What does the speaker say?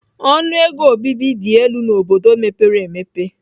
Ọnụ ego obibi dị elu n'obodo mepere emepe.